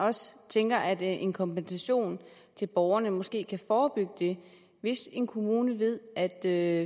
også tænker at en kompensation til borgeren måske kan forebygge det hvis en kommune ved at det her